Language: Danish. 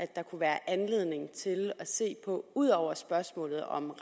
der kunne være anledning til at se på ud over spørgsmålet om